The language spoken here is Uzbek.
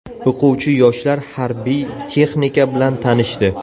O‘quvchi yoshlar harbiy texnika bilan tanishdi.